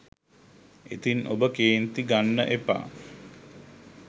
ඉතින් ඔබ කේන්ති ගන්න එපා.